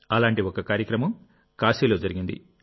అలాంటి ఒక కార్యక్రమం కాశీలో జరిగింది